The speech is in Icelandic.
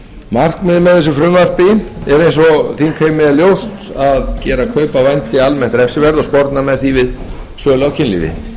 markmiðið með frumvarpinu er eins og þingheimi er ljóst að gera kaup á vændi almennt refsiverð og sporna með því við sölu á kynlífi